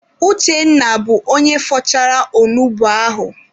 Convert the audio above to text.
Uchenna bụ onye fọchara onugbu ahụ.